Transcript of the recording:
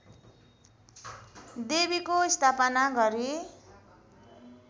देवीको स्थापना गरी